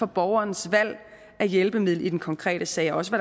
borgerens valg af hjælpemiddel i den konkrete sag og også